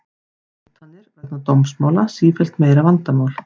Hótanir vegna dómsmála sífellt meira vandamál